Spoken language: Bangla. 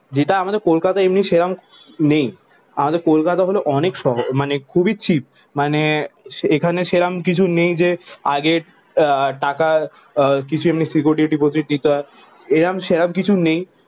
যেটা আমাদের কলকাতা এমনি সেরাম নেই। আমাদের কলকাতা হলো অনেক শহ মানে খুবই চিপ। মানে এখানে সেরাম কিছু নেই যে, আগের আহ টাকার কিছু এমনি সিকিউরিটি ডিপোজিট দিতে হয়। এরাম সেরাম কিছু নেই।